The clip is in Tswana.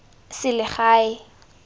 selegae